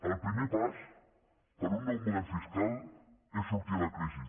el primer pas per a un nou model fiscal és sortir de la crisi